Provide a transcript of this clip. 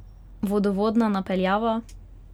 Vodovodna napeljava?